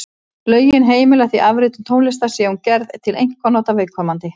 Lögin heimila því afritun tónlistar sé hún gerð til einkanota viðkomandi.